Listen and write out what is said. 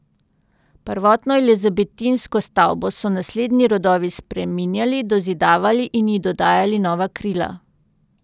Prvotno elizabetinsko stavbo so naslednji rodovi spreminjali, dozidavali in ji dodajali nova krila.